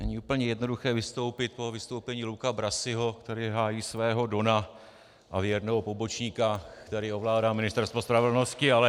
Není úplně jednoduché vystoupit po vystoupení Luca Brasiho, který hájí svého dona a věrného pobočníka, který ovládá Ministerstvo spravedlnosti, ale...